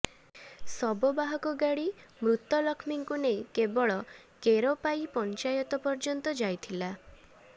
ଶବବାହକ ଗାଡି ମୃତ ଲକ୍ଷ୍ମୀଙ୍କୁ ନେଇ କେବଳ କେରପାଇ ପଂଚାୟତ ପର୍ଯ୍ୟନ୍ତ ଯାଇଥିଲା